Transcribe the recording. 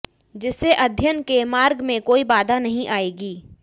जिससे अध्ययन के मार्ग में कोई बाधा नहीं आयेगी